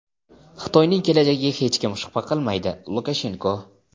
Xitoyning kelajagiga hech kim shubha qilmaydi — Lukashenko.